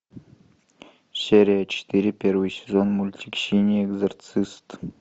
серия четыре первый сезон мультик синий экзорцист